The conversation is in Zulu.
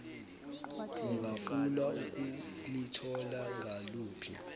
ungafuna ukulithola ngaluphi